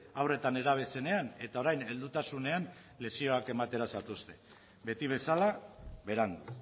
haur eta nerabe zenean eta orain heldutasunean lezioak ematera zatozte beti bezala berandu